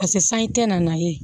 pase sanji tɛ na ye